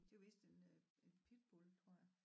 Det er vist en øh en pitbull tror jeg